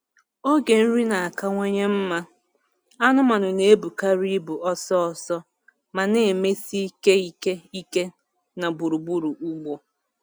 Oge nri na-akawanye mma, anụmanụ na-ebukarị ibu ọsọ ọsọ ma na-emesi ike ike ike na gburugburu ugbo.